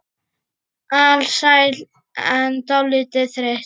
Alsæl en dálítið þreytt.